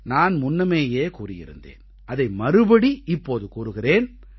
நான் முன்னமேயே கூறியிருந்தேன் அதை மறுபடி இப்போது கூறுகிறேன்